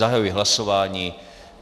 Zahajuji hlasování.